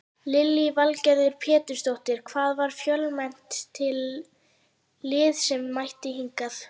Lillý Valgerður Pétursdóttir: Hvað, var fjölmennt lið sem mætti hingað?